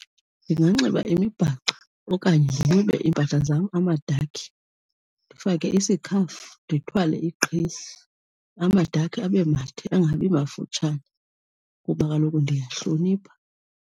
Ndinganxiba imibhaco okanye ndinxibe iimpahla zam amadakhi, ndifake isikhafu, ndithwale iqhiya. Amadakhi abe made angabi mafutshane kuba kaloku ndiyayihlonipha.